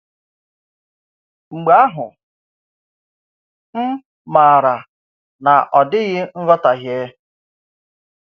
Mgbe ahụ, m maara na ọ̀ dịghị nghọtahie.